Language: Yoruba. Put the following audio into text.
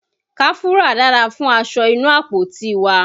Káfúrà dára fún aṣọ inú àpótí wa.